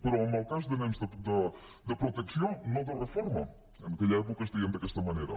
però en el cas de nens de protecció no de reforma en aquella època es deien d’aquesta manera